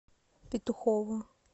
петухово